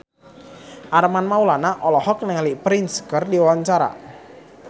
Armand Maulana olohok ningali Prince keur diwawancara